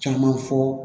Caman fɔ